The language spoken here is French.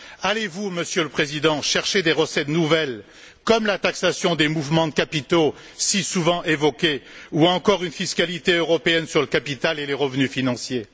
Allez vous, Monsieur le Président, chercher des recettes nouvelles, comme la taxation des mouvements de capitaux si souvent évoquée, ou encore une fiscalité européenne sur le capital et les revenus financiers?